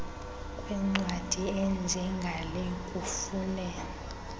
kwencwadi enjengale kufune